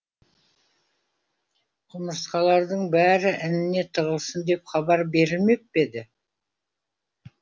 құмырсқалардың бәрі ініне тығылсын деп хабар берілмеп пе еді